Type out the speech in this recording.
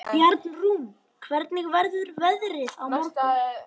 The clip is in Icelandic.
Bjarnrún, hvernig verður veðrið á morgun?